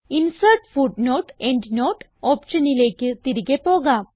insert footnote endnote ഓപ്ഷനിലേക്ക് തിരികെ പോകാം